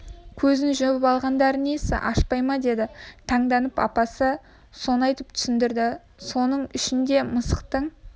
көзін жұмып алғандары несі ашпай ма деді таңданып апасы соны айтып түсіндірді соның үшін де мысықтың